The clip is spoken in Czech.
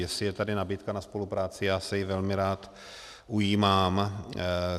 Jestli je tady nabídka na spolupráci, já se ji velmi rád ujímám.